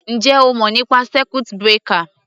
Ǹjẹ́ o mọ̀ nípa circuit breaker?